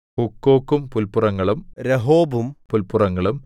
ഹൂക്കോക്കും പുല്പുറങ്ങളും രഹോബും പുല്പുറങ്ങളും